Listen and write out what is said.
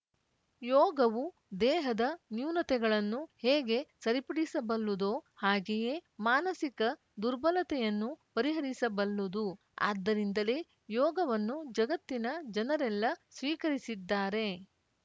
ಯೋಗವು ದೇಹದ ನ್ಯೂನತೆಗಳನ್ನು ಹೇಗೆ ಸರಿಪಡಿಸಬಲ್ಲುದೋ ಹಾಗೇಯೇ ಮಾನಸಿಕ ದುರ್ಬಲತೆಯನ್ನೂ ಪರಿಹರಿಸಬಲ್ಲುದು ಆದ್ದರಿಂದಲೇ ಯೋಗವನ್ನು ಜಗತ್ತಿನ ಜನರೆಲ್ಲ ಸ್ವೀಕರಿಸಿದ್ದಾರೆ